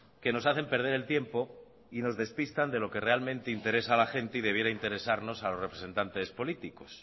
que nos hacen perder el tiempo y nos despistan de lo que realmente interesa a la gente y debiera interesarnos a los representantes políticos